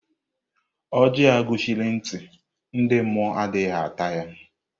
Ọjị a gọchiri ntị, ndị mmụọ adịghị ata ya.